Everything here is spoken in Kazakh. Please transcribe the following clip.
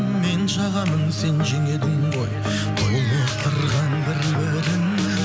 мен жағамын сен жең едің ғой толықтырған бір бірін